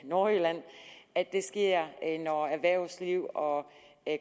nordjylland at det sker når erhvervslivet og